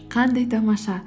қандай тамаша